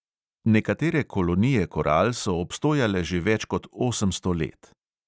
Nekatere kolonije koral so obstojale že več kot osemsto let.